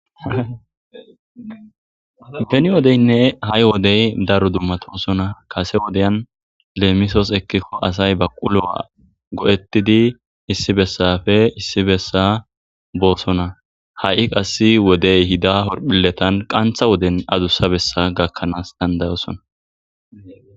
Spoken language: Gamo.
peni wodeynne ha7i wodey daro dummatosona kase wodeyan leemisos ekkikko asay ba qulowa go7ettidi issi bessafe issi bessa boosona ha7i qass wodey hida horphiletan qantha woden adussa bessa gakkanaas dandayosona